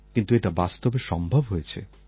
কিন্তু এটা বাস্তবে সম্ভব হয়েছে